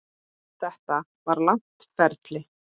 Þetta var langt ferli.